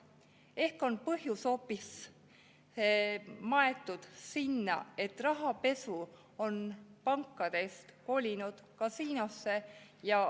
Ehk on põhjus maetud hoopis sinna, et rahapesu on pankadest kolinud kasiinosse?